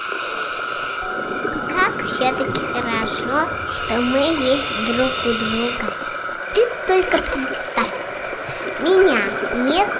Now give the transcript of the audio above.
как все таки хорошо что мы есть друг у друга ты только представь меня нет